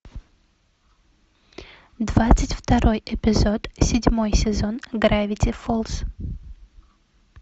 двадцать второй эпизод седьмой сезон гравити фолз